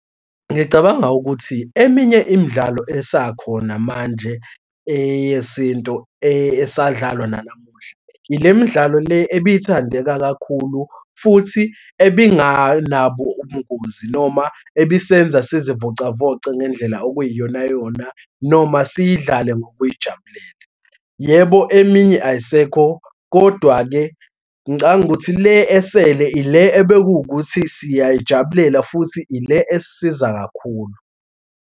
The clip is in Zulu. Ngicabanga ukuthi eminye imidlalo esakhona manje eyesintu esadlalwa nanamuhla, yilemidlalo le ebithandeka kakhulu futhi ebinganabo ubungozi noma ebisenza sizivocavoce ngendlela okuyiyonayona, noma siyidlale ngokujayibulela. Yebo, eminye ayisekho kodwa-ke ngicabanga ukuthi le esele ile ebewukuthi siyayijabulela futhi ile esisiza kakhulu.